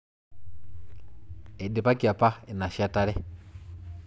Eidipaki apa inashetare